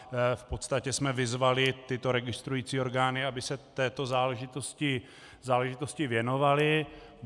V podstatě jsme vyzvali tyto registrující orgány, aby se této záležitosti věnovaly.